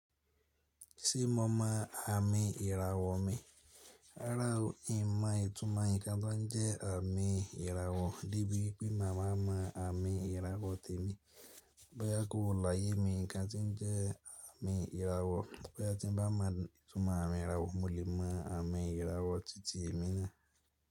Ṣé mo mọ àmì ìràwọ̀ mi? Rárá o, èèyàn máa ìtumọ̀ ǹkan tó ń jẹ́ àmì ìràwọ̀ níbí wípé màmá mọ àmì ìràwọ̀ tèmi. Bóyá kóò láyé mi nǹkan tí ń jẹ́ àmì ìràwọ̀, bóyá tí ń bá mọ ìtumọ̀ àmì ìràwọ̀, mo lè mọ àmì ìràwọ̀ títí èmi na.